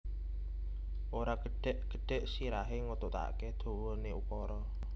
Ora gedhek gedhek sirahe ngetutake dawane ukara